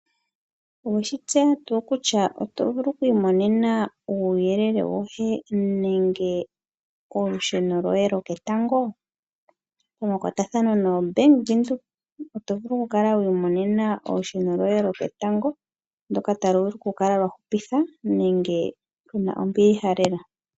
Owe shi tseya tuu kutya oto vulu oku imonene uuyelele woye nenge yolusheno lo ketango? Pamakwatathano noBank Windhoek oto vulu wu kale wi imonena olusheno lwoye loketango talu vulu okukala lwa hupitha nenge lu na ombiliha lela.